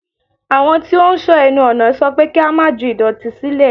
Àwọn tí ó ń sọ́ ẹnu ọ̀nà sọ pé kí á má ju ìdọ̀tí sílẹ̀.